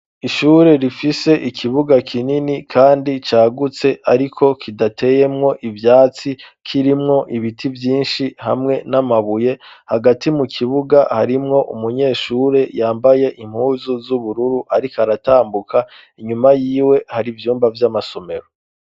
Ishure rifise ikibuga kinini, kandi cagutse, ariko kidateyemwo ivyatsi kirimwo ibiti vyinshi hamwe n'amabuye hagati mu kibuga harimwo umunyeshure yambaye impuzu z'ubururu, ariko aratambuka inyuma yiwe hari ivyumba vy'amasomero.